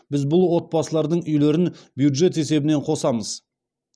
біз бұл отбасылардың үйлерін бюджет есебінен қосамыз